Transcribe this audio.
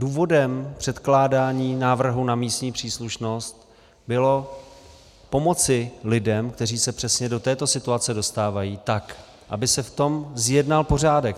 Důvodem předkládání návrhu na místní příslušnost bylo pomoci lidem, kteří se přesně do této situace dostávají, tak aby se v tom zjednal pořádek.